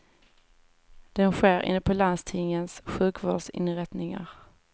Den sker inne på landstingens sjukvårdsinrättningar.